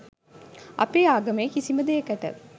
අපේ ආගමේ කිසිම දේකට